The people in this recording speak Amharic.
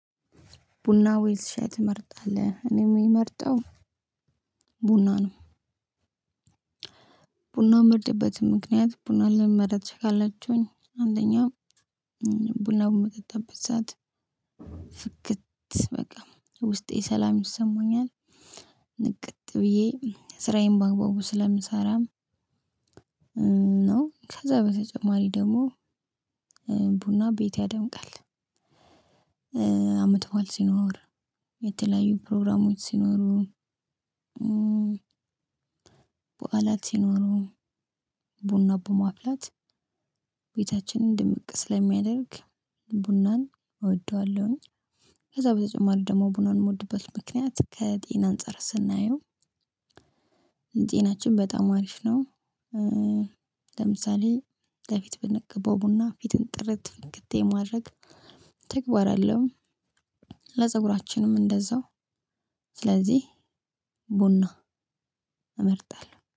ቡና ወይስ ሻይ ትመርጣለህ? እኔ የምመርጠው ቡና ነው። ቡና ምመርጥበት ምክንያት ቡናውን ለምን መረጥሽ ካላችሁኝ? አንደኛ ቡናውን ምጠጣበት ሰዓት ፍክት በቃ ውስጤ ሰላም ይሰማኛል። ንቅት ብዬ ስራዬን በአግባቡ ስለምሰራም ነው። ከዛ በተጨማሪ ደግሞ ቡና ቤት ያደምቃል። አመትበዓል ሲኖር የተለያዩ ፕሮግራሞች ሲኖሩ በዓላት ሲኖሩ ቡና በማፍላት ቤታችንን ድምቅ ስለሚያደርግ ቡናን እወደዋለሁኝ። ከዛ በተጨማሪ ደግሞ ቡናን የምወድበት ምክንያት ከጤና አንፃር ስናየው ጤናችን በጣም አሪፍ ነው። ለምሳሌ ከፊት ብንቀባው ቡና ፊትን ጥረት ፍክት የማድረግ ተግባር አለው። ለፀጉራችንም እንደዛው ስለዚህ ቡና እመርጣለሁ።